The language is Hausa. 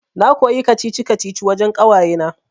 Na koyi kacici-kacici wajan ƙawayena